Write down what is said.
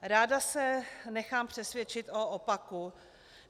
Ráda se nechám přesvědčit o opaku.